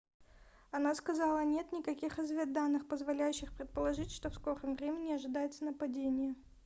она сказала нет никаких разведданных позволяющих предположить что в скором времени ожидается нападение